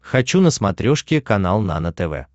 хочу на смотрешке канал нано тв